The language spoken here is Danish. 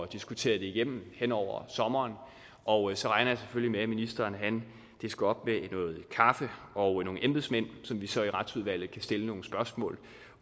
diskutere det igennem hen over sommeren og så regner jeg selvfølgelig med at ministeren disker op med noget kaffe og nogle embedsmænd som vi så i retsudvalget kan stille nogle spørgsmål